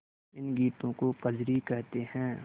इन गीतों को कजरी कहते हैं